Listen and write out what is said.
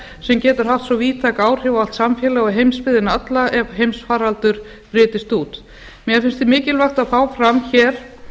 sem getur haft svo víðtæk áhrif á allt samfélag og heimsbyggðina alla ef heimsfaraldur brytist út mér fyndist mikilvægt að fá fram hér